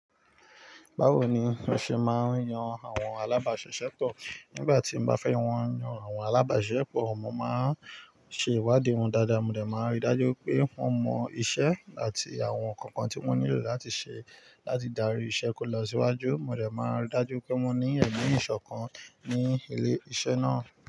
Báwo ni wọ́n ṣe máa ń yan àwọn alábàáṣẹ́ṣẹ́ pọ̀? Nígbà tí mo bá fẹ́ wọn yan àwọn alábáṣiṣẹ́ pọ̀, mo má ń ṣe ìwádìí wọn dáadáa, mo dè máa rí dájú pé wọ́n mọ iṣẹ́ àti àwọn kankan tí wọ́n nílò láti ṣe láti darí iṣẹ́ kó lọ síwájú. Mo dè má n rí dájú pé wọ́n ní ẹ̀mi ìṣọ̀kan ní ilé iṣẹ́ náà.